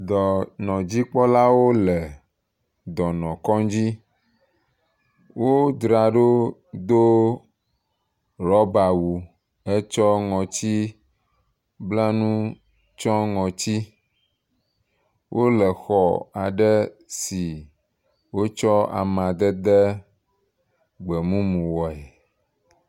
Dɔnɔdzikpɔlawo le dɔnukɔdzi. Wodzraɖo do rɔbawu hetsɔ ŋɔtiblanu tsɔ ŋɔti. Wole xɔ aɖe si wotsɔ amedede gbemumu woe.